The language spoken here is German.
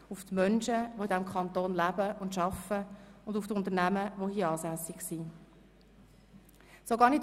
Das betrifft die Menschen, die hier leben und arbeiten, und die hier ansässigen Unternehmen.